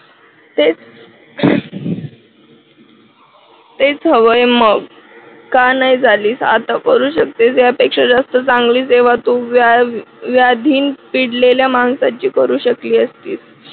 हेच ते हवय मग का नाही झाली आता करू शकतेस यापेक्षा जास्त चांगली सेवा तू व्याधीन पिडलेल्या माणसाची करू शकले असतीस